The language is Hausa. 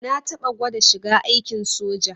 Na taɓa gwada shiga aikin soja.